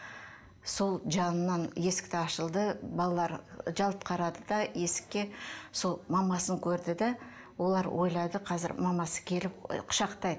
сол жанынан есікті ашылды балалар жалт қарады да есікке сол мамасын көрді де олар ойлады қазір мамасы келіп і